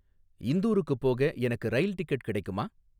இந்தூருக்குப் போக எனக்கு rail ticket கிடைக்குமா?